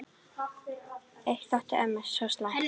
Eitt þótti ömmu þó slæmt.